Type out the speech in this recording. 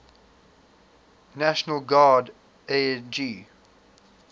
national guard ang